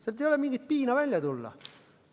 Sealt ei ole mingi piin välja tulla.